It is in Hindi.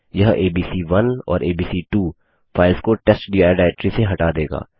यह एबीसी1 और एबीसी2 फाइल्स को टेस्टडिर डाइरेक्टरी से हटा देगा